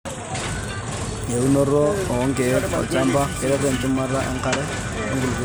Eunoto oo kiek tolchamba keret enchumata enkare wenkulupuoni.